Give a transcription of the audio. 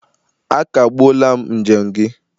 Akagbuola m njem gị!